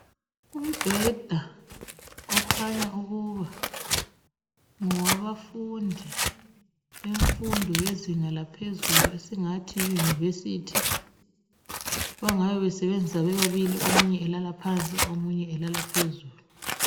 Umbheda okhanya ukuba ngowabafundi bemfundo yezinga laphezulu esingathi yi yunivesithi bangabe besebenzisa bebabili omunye elala phansi omunye elala phezulu.